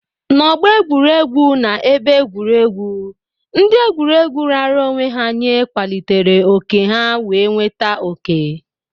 N'ọgbọ egwuregwu na ebe egwuregwu, ndị egwuregwu raara onwe ha nye kwalitere oke ha wee nweta oke.